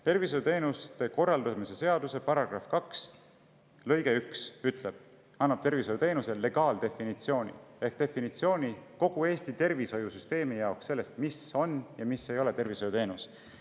Tervishoiuteenuste korraldamise seaduse § 2 lõige 1 annab tervishoiuteenuse legaaldefinitsiooni ehk definitsiooni kogu Eesti tervishoiusüsteemi jaoks, mis on ja mis ei ole tervishoiuteenus.